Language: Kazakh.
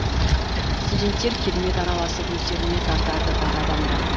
студенттер керемет араласып өздеріне тартады бар адамды